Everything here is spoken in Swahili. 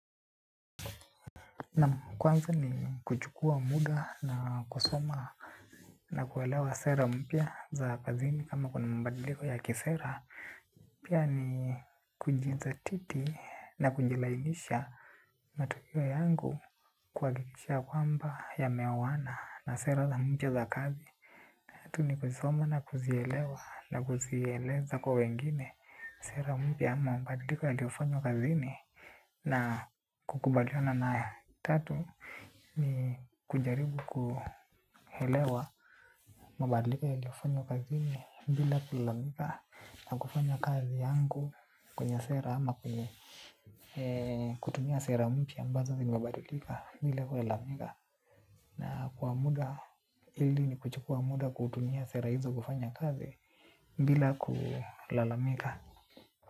Na kwanza ni kuchukua muda na kusoma na kuelewa sera mpya za kazini ama kuna mabadliko ya kisera. Pia ni kujidhatiti na kunjilainisha matukio yangu kuhakikisha kwamba yameoana na sera za mpya za kazi. Yatu ni kujisoma na kuzielewa na kuzieleza kwa wengine sera mpya ama mabadliko yakifanywa kazini. Na kukubaliana nayo tatu ni kujaribu kuelewa mabadiliko yaliofanywa kazini bila kulalamika na kufanya kazi yangu kwenye sera ama kutumia sera mpya ambazo ni mabadiliko bila kulalamika. Na kwa muda ili ni kuchukua muda kutumia sera hizo kufanya kazi bila kulalamika.